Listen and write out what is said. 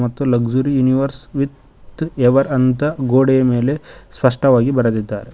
ಮತ್ತು luxury universe with ever ಅಂತ ಗೋಡೆಯ ಮೇಲೆ ಸ್ಪಷ್ಟವಾಗಿ ಬರೆದಿದ್ದಾರೆ.